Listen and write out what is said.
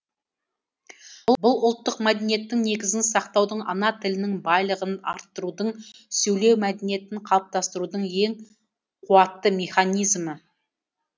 бұл ұлттық мәдениеттің негізін сақтаудың ана тілінің байлығын арттырудың сөйлеу мәдениетін қалыптастырудың ең қуатты механизмі